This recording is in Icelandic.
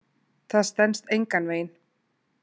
Það stenst engan veginn.